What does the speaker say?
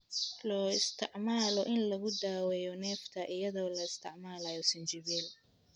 Loo isticmaalo in lagu daweeyo neefta (iyadoo la isticmaalayo sinjibiil).